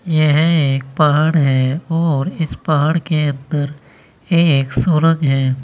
यह एक पहाड़ है और इस पहाड़ के अंदर एक सुरंग है।